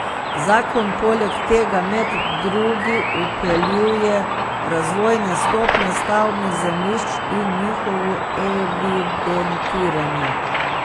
Zakon poleg tega med drugi vpeljuje razvojne stopnje stavbnih zemljišč in njihovo evidentiranje.